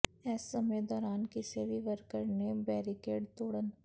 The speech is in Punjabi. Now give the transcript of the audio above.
ਇਸ ਸਮੇਂ ਦੌਰਾਨ ਕਿਸੇ ਵੀ ਵਰਕਰ ਨੇ ਬੈਰੀਕੇਡ ਤੋੜਨ